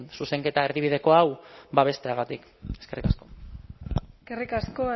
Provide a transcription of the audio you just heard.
zuzenketa erdibideko hau babesteagatik eskerrik asko eskerrik asko